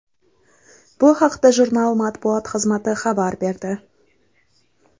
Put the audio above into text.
Bu haqda jurnal matbuot xizmati xabar berdi .